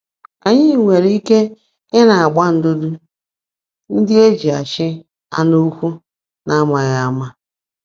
Anyị nwere ike “Ị na-agba ndụdụ ndị e ji achị anụ ụkwụ ” n’amaghị ama?